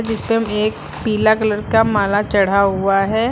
एक पीला कलर का माला चढ़ा हुआ है।